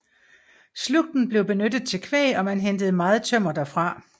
Slugten blev benyttet til kvæg og man hentede meget tømmer derfra